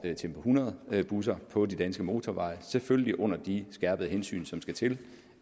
tempo hundrede busser på de danske motorveje selvfølgelig under de skærpede hensyn som skal til